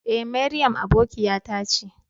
E, Mariam aboƙiyata ce.